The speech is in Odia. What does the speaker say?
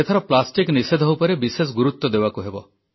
ଏଥର ପ୍ଲାଷ୍ଟିକ ନିଷେଧ ଉପରେ ବିଶେଷ ଗୁରୁତ୍ୱ ଦେବାକୁ ହେବ